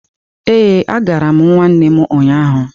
Ee, agara m nwanne m ụnyahụ.